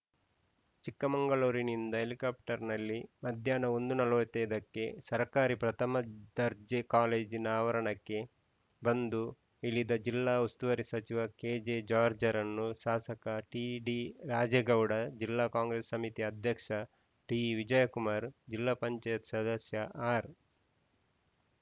ಚಿಕ್ಕಮಂಗಳೂರಿನಿಂದ ಹೆಲಿಕಪ್ಟರ್‌ನಲ್ಲಿ ಮಧ್ಯಾಹ್ನ ಒಂದು ನಲವತ್ತ್ ಐದಕ್ಕೆ ಸರ್ಕಾರಿ ಪ್ರಥಮ ದರ್ಜೆ ಕಾಲೇಜಿನ ಆವರಣಕ್ಕೆ ಬಂದು ಇಳಿದ ಜಿಲ್ಲಾ ಉಸ್ತುವಾರಿ ಸಚಿವ ಕೆಜೆಜಾಜ್‌ರ್‍ರನ್ನು ಶಾಸಕ ಟಿಡಿರಾಜೇಗೌಡ ಜಿಲ್ಲಾ ಕಾಂಗ್ರೆಸ್‌ ಸಮಿತಿ ಅದ್ಯಕ್ಷ ಡಿವಿಜಯಕುಮಾರ್‌ ಜಿಲ್ಲಾ ಪಂಚಾಯತ್ ಸದಸ್ಯ ಆರ್‌